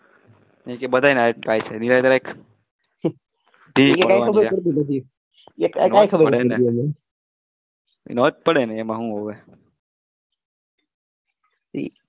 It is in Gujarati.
બધાને